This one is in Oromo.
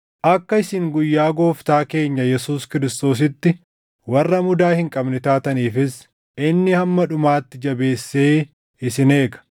Akka isin guyyaa Gooftaa keenya Yesuus Kiristoositti warra mudaa hin qabne taataniifis inni hamma dhumaatti jabeessee isin eega.